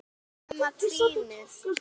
Nema trýnið.